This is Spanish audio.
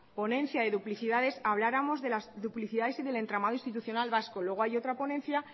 ponencia de duplicidades habláramos de las duplicidades y del entramado institucional vasco luego hay otra ponencia